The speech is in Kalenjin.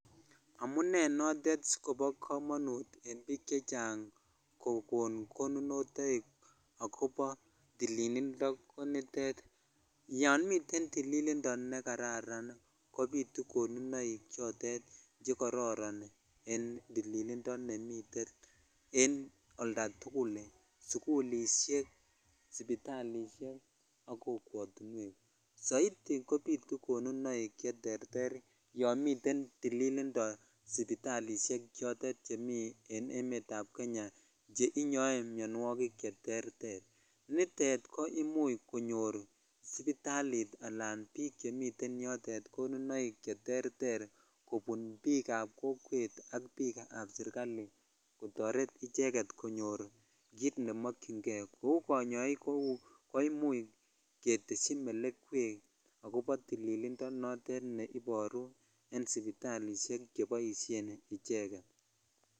Amunei notet asikopo kamanut en biik chechang kokono konunotoi akobo tililindo ko nitet yon miten tililindo nekararan kobitu konunoik chotet chekororonen tililindo nemiten en oltatukul sukulishek sipitalishek ak kokwotuwek soit kobitu konunok yon niten tililindo sipitalishek chotet chemi en emet ab kenya che inyoe mionwokik cheterter nitet koimuchsipitalit alan kobik chemiten yotet konunoik cheterter kobun biik ab kokwet ab biik ap sirkali kotoret icheget konyorkit nemokyin kei kou konyoik ko imuch keteshi melekwek akobo tililindonotet neiboruen sipitalishek cheboishen icheget.